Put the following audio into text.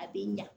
A bɛ ɲa